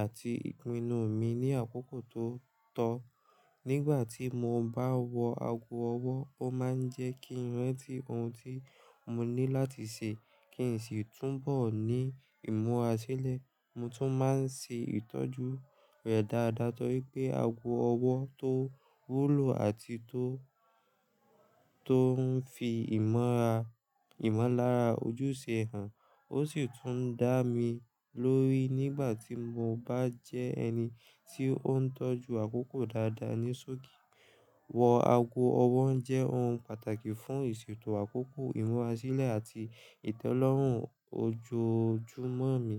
àti ìpinnu mi ní àkókò tó tọ́. Nígbà tí mo bá wọ ago ọwọ́, ó máa ń jẹ́ kí n rántí ohun tí mo ní láti ṣe kí n sì túnbọ̀ ní ìmúra sílẹ̀. Mo tún máa ń ṣe ìtọ́jú rẹ̀ dáadáa torí pé ago ọwọ́ tó wúlò àti tó, tó ń fi ìmọ́ra, ìmọ̀lára ojú ṣe hàn. Ó sì tún ń dá mi lórí nígbà tí mo bá jẹ́ ẹni tí ó ń tọ́jú àkókò dáadáa ní ṣọ́ọ̀gì. Wọ ago ọwọ́ jẹ́ ohun pàtàkì fún ìṣètò àkókò, ìmúra sílẹ̀, àti ìtẹ́lọ́rùn ojoojúmọ́ mi.